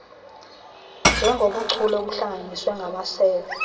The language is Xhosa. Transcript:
njengobuchule obuhlanganiswe ngamasebe